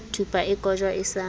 thupa e kojwa e sa